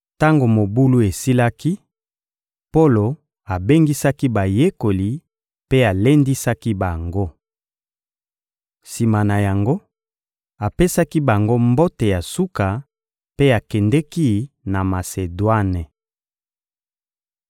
Tango mobulu esilaki, Polo abengisaki bayekoli mpe alendisaki bango. Sima na yango, apesaki bango mbote ya suka mpe akendeki na Masedwane.